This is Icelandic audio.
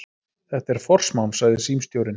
Þetta er forsmán, sagði símstjórinn.